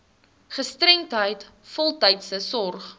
gestremdheid voltydse sorg